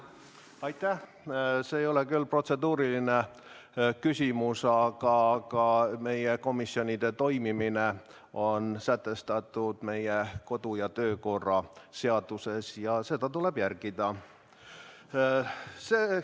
See ei ole tõesti protseduuriline küsimus, aga ma märgin, et meie komisjonide toimimine on sätestatud meie kodu- ja töökorra seaduses ja seda tuleb järgida.